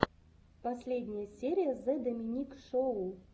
последняя серия зе доминик шоу